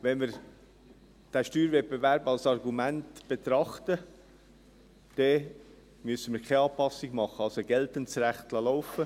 Wenn wir den Steuerwettbewerb als Argument betrachten, dann müssen wir keine Anpassung machen, also das geltende Recht laufen lassen.